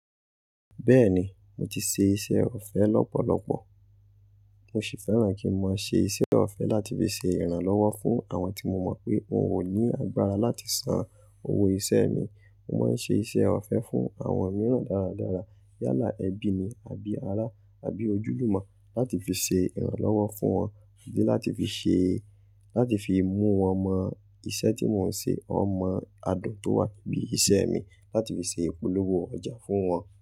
Bẹ́ẹ̀ni, mo ti ṣe iṣẹ́ ọ̀fẹ́ lọ́pọ̀lọpọ̀. Mo sì fẹ́ràn kí n mọ máa ṣe iṣẹ́ ọ̀fẹ́ láti fi ṣe ìrànlọ́wọ́ fún àwọn tí mo mọ̀ pé wọn ò ní agbára láti san owó iṣẹ́ mi. Mo máa ń ṣe iṣẹ́ ọ̀fẹ́ fún àwọn mìíràn dáradára. Yálà ẹbí ni àbí ará àbí ojúlùmọ̀ láti fi ṣe ìrànlọ́wọ́ fún wọn di láti fi ṣe, láti fi mú wọn mọ iṣẹ́ tí mò ń ṣe, ó mọ adùn tó wà níbí iṣẹ́ mi láti fi ṣe ìpolówó ọjà fún wọn.